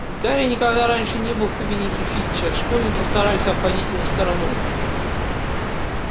гарри никогда раньше не был в кабинете фитча школьники стараются обходить его стороной